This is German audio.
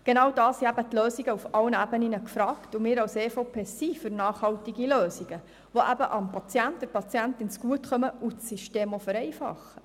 Genau da sind Lösungen auf allen Ebenen gefragt, und wir als EVP-Fraktion sind für nachhaltige Lösungen, die dem Patienten, der Patientin zugutekommen und auch das System vereinfachen.